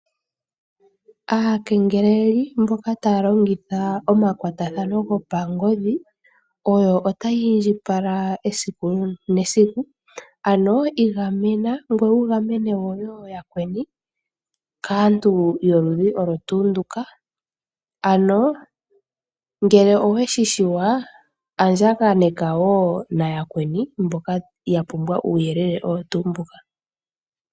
Aakengeleli mboka taa longitha omakwatathano go pangodhi, oyo ota yiindjipala esiku nesiku ano i gamena ngweye wugamene woo yakweni kaantu yoludhi olwo tuu nduka. Ano ngele oweshishiwa andjaganeka woo nayakweni mboka yapumbwa uuyelele owo tuu mbuka.